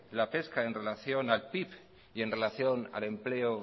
la pesca en relación al pib y en relación al empleo